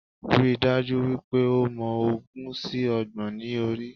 Ríi dájú wípé o mọ ogún sí Ọgbọ̀n ní orí